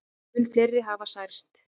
Mun fleiri hafi særst.